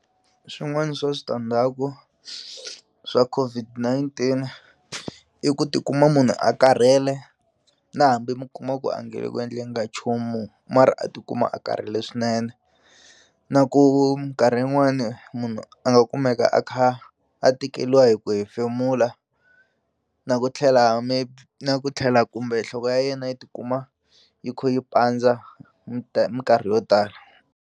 Swin'wani swa switandzhaku swa COVID-19 i ku tikuma munhu a karhele na hambi mi kuma ku a nge le ku endleni ka nchumu mara a tikuma a karhele swinene na ku minkarhi yin'wani munhu a nga kumeka a kha a tikeliwa hi ku hefemula na ku tlhela maybe na ku tlhela kumbe nhloko ya yena yi tikuma yi khu yi pandza minkarhi yo tala.